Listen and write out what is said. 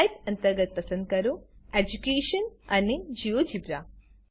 type અંતર્ગત પસંદ કરો એડ્યુકેશન અને જિયોજેબ્રા